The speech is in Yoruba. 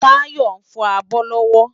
Tayo nfò ábò lòwò